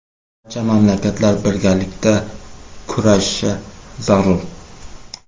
Barcha mamlakatlar birgalikda kurashishi zarur.